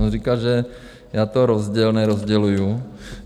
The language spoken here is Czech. On říkal, že já to rozděluji... nerozděluji.